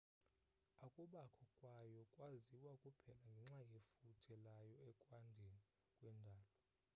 ukubakho kwayo kwaziwa kuphela ngenxa yefuthe layo ekwandeni kwendalo